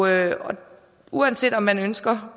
her uanset om man ønsker